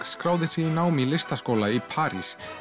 skráði sig í nám í listaskóla í París